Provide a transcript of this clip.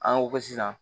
An ko ko sisan